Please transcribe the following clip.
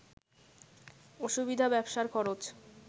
অসুবিধা ব্যবসার খরচ